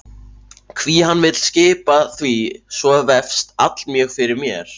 Hví hann vill skipa því svo vefst allmjög fyrir mér.